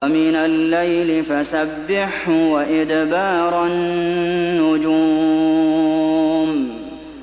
وَمِنَ اللَّيْلِ فَسَبِّحْهُ وَإِدْبَارَ النُّجُومِ